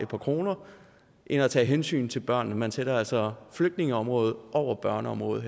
par kroner end at tage hensyn til børnene man sætter altså her flygtningeområdet over børneområdet